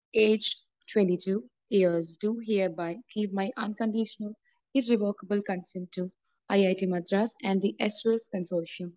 Aged 22 years. I do hereby give my unconditional, irrevocable consent to IIT Madras and the സ്‌2സ്‌ consortium